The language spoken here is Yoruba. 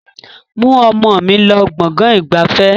Mú ọmọ mi lọ gbọ̀ngàn ìgbafẹ́!